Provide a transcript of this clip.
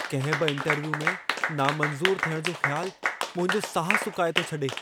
कंहिं बि इंटरव्यू में नामंज़ूर थियण जो ख़्यालु मुंहिंजो साहु सुकाए थो छडे॒।